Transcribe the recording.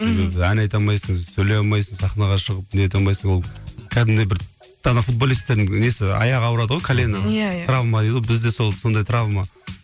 мхм ән айта алмайсың сөйлей алмайсың сахнаға шығып нете алмайсың ол кәдімгідей бір ана футболистердің несі аяғы ауырады ғой колена иә иә травма дейді ғой бізде сол сондай травма